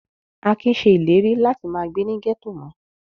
Akin ṣe ìlérí láti má gbé ní gẹ́tò mọ́.